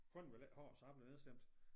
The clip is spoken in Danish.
Konen ville ikke have så jeg blev nedstemt